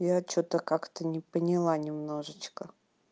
я что-то как-то не поняла немножечко